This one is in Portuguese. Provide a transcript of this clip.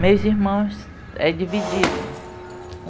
Meus irmãos é dividido